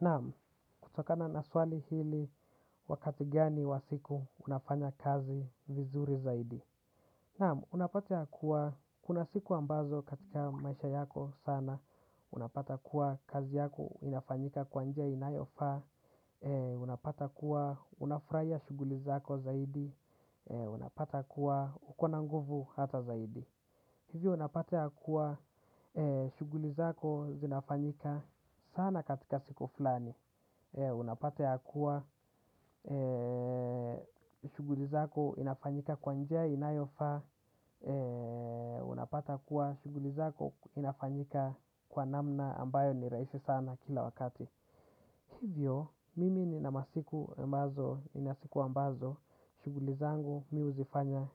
Naam, kutokana naswali hili, "wakati gani wa siku unafanya kazi vizuri zaidi?". Naam, unapata kuwa kuna siku ambazo katika maisha yako sana, unapata kuwa kazi yako inafanyika kwa njia inayofaa, unapata kuwa unafurahia shughuli zako zaidi, unapata kuwa uko na nguvu hata zaidi. Hivyo unapata ya kuwa shughuli zako zinafanyika sana katika siku fulani. Unapata ya kuwa shughulizako inafanyika kwa njia inayofaa, unapata ya kuwa shughulizako inafanyika kwa namna ambayo ni rahisi sana kila wakati. Hivyo, mimi nina masiku ambazo, nina siku ambazo, shughuli zangu, mi huzifanya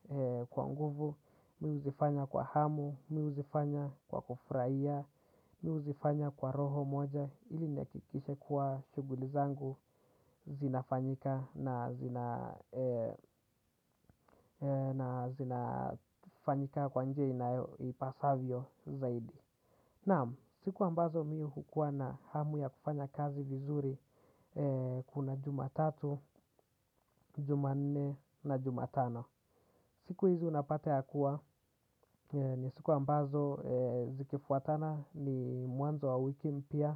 kwa nguvu, mi huzifanya kwa hamu, mi huzifanya kwa kufurahia, mi huzifanya kwa roho moja, ili nakikishe kwa shughuli zangu zinafanyika na zina na zinafanyika kwa njia inayopasavyo zaidi. Naam, siku ambazo mi hukuwa na hamu ya kufanya kazi vizuri kuna Jumatatu, Jumanne na Jumatano. Siku hizi unapata ya kuwa, ni siku ambazo zikifuatana ni mwanzo wa wiki mpya.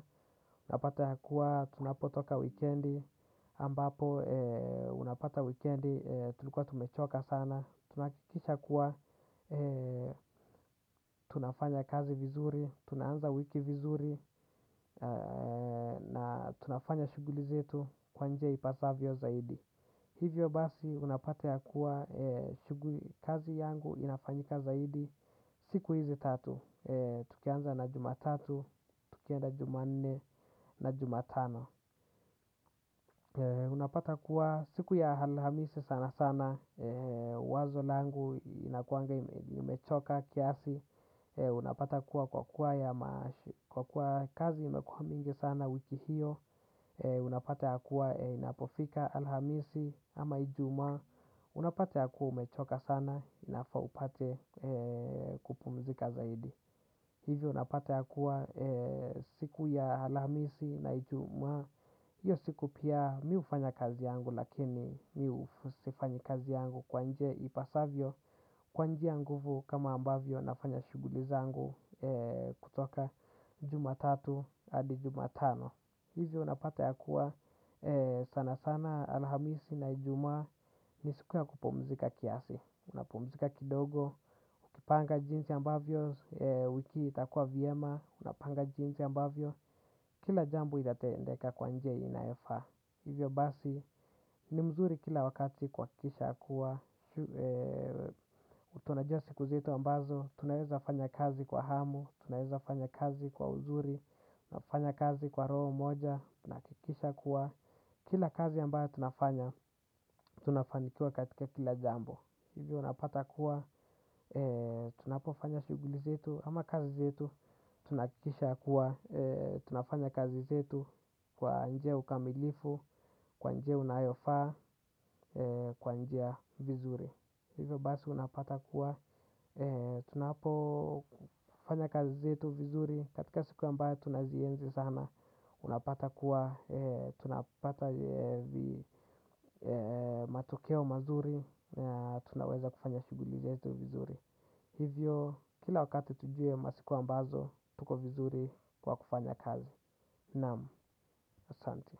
Unapata ya kuwa, tunapotoka weekend, ambapo unapata weekend tulikuwa tumechoka sana. Tunahakikisha kuwa tunafanya kazi vizuri, tunaanza wiki vizuri na tunafanya shughuli zetu kwa njia ipasavyo zaidi. Hivyo basi unapata ya kuwa shughuli kazi yangu inafanyika zaidi siku hizi tatu. Tukianza na juma tatu, tukienda juma nne na juma tano. Unapata kuwa siku ya Alhamisi sana sana wazo langu inakuanga imechoka kiasi unapata kuwa kwa kuwa kwa kuwa kazi imekuwa mingi sana wiki hiyo unapata kuwa inapofika Alhamisi ama Ijumaa, unapata kuwa umechoka sana inafaa upate kupumzika zaidi hivyo unapata kuwa siku ya Alhamisi na ijuma hiyo siku pia mi hufanya kazi yangu lakini sifanyi kazi yangu kwa njia ipasavyo kwa njia ya nguvu kama ambavyo nafanya shughuli zangu kutoka Jumatatu hadi Jumatano. Hivyo unapata ya kuwa sana sana Alhamisi na ajumaa ni siku ya kupumzika kiasi. Unapumzika kidogo kupanga jinsi ambavyo wiki itakuwa vyema. Unapanga jinsi ambavyo kila jambo itatendeka kwa njia inayofaa. Hivyo basi, ni mzuri kila wakati kuhakikisha kuwa tunajua siku zetu ambazo, tunaweza fanya kazi kwa hamu, tunaweza fanya kazi kwa uzuri, nafanya kazi kwa roho moja tunahakikisha kuwa, kila kazi ambayo tunafanya, tunafanikiwa katika kila jambo. Hivyo napata kuwa, tunapofanya shughuli zetu, ama kazi zetu, tunakikisha kuwa tunafanya kazi zetu kwa njia ya ukamilifu kwa njia unayofaa kwa njia vizuri. Hivyo basi unapata kuwa tunapofanya kazi zetu vizuri katika siku ambayo tunazienzi sana, unapata kuwa tunapata matokeo mazuri. Tunaweza kufanya shughuli zetu vizuri. Hivyo kila wakati tujue masiku ambazo tuko vizuri kwa kufanya kazi. Naam. Asante.